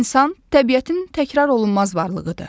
İnsan təbiətin təkrarolunmaz varlığıdır.